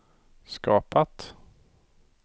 skapat